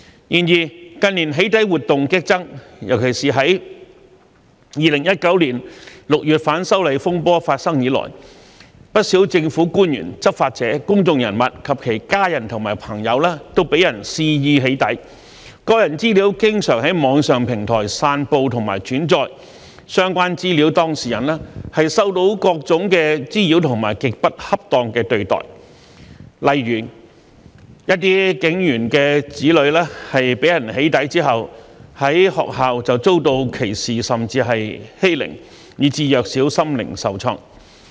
然而，近年"起底"活動激增，尤其是自2019年6月反修例風波發生以來，不少政府官員、執法者、公眾人物及其家人和朋友都被人肆意"起底"，個人資料經常在網上平台散布及轉載，相關資料當事人受到各種滋擾和極不恰當的對待，例如一些警員的子女被人"起底"之後，在學校遭到歧視甚至欺凌，以致弱小心靈受創。